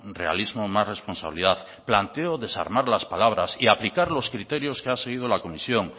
realismo más responsabilidad planteo desarmar las palabras y aplicar los criterios que han seguido la comisión